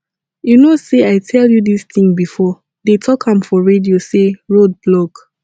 you know say i tell you dis thing before dey talk am for radio say road block